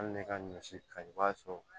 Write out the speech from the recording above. Hali ne ka ɲɔ si kaɲi i b'a sɔrɔ